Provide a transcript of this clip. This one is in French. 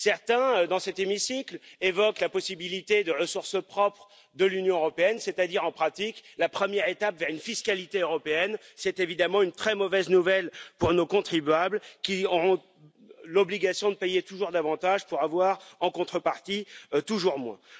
Certains dans cet hémicycle évoquent la possibilité de ressources propres de l'Union européenne il s'agirait en pratique de la première étape vers une fiscalité européenne, évidemment une très mauvaise nouvelle pour nos contribuables, qui auront l'obligation de payer toujours davantage pour avoir en contrepartie toujours moins.